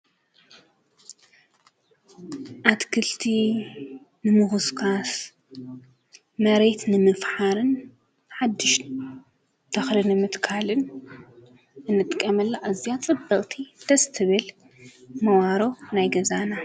አትክልቲ ንምኩስኳስ፣ መሬት ንምፍሓር ፣ሓዱሽ ተኽሊ ንምትካልን ንጥቀመላ አዝያ ፅብቕቲ ደስ ትብል መባሮ ናይ ገዛና።